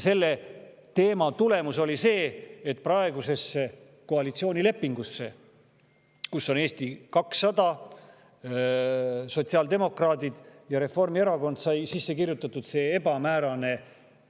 Selle tulemus oli see, et praegusesse koalitsioonilepingusse, Eesti 200, sotsiaaldemokraadid ja Reformierakond, sai sisse kirjutatud see ebamäärane